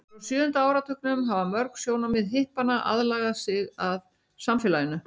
frá sjöunda áratugnum hafa mörg sjónarmið hippanna aðlagað sig að samfélaginu